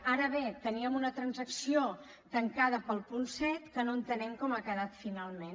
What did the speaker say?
ara bé teníem una transacció tancada per al punt set que no entenem com ha quedat finalment